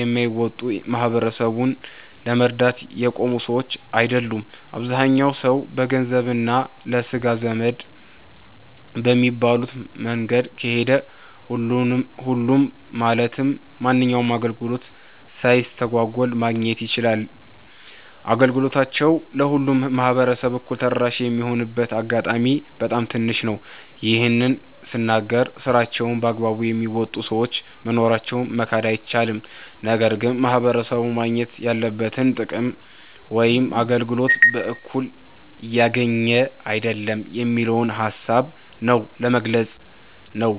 የማይወጣ፣ ማህበረሰቡን ለመርዳት የቆሙ ሰዎች አይደሉም። አብዛኛው ሰው በገንዘብ እና ለስጋ ዘመድ በሚባሉት መንገድ ከሄደ፣ ሁሉም ማለትም ማንኛውንም አገልግሎት ሳይስተጓጎል ማግኘት ይችላል። አገልግሎታቸው ለሁሉም ማህበረሰብ እኩል ተደራሽ የሚሆንበት አጋጣሚ በጣም ትንሽ ነው። ይህን ስናገር ስራቸውን በአግባቡ የሚወጡ ሰዎች መኖራቸውን መካድ አይቻልም። ነገር ግን ማህበረሰቡ ማግኘት ያለበትን ጥቅም ወይም አገልግሎት በእኩልነት እያገኘ አይደለም የሚለውን ሃሳብ ነው ለመግለፅ ነው።